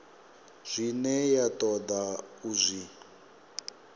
zwine ya toda u zwi